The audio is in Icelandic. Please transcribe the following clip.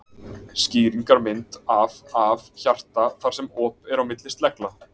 Skýringarmynd af af hjarta þar sem op er á milli slegla.